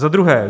Za druhé.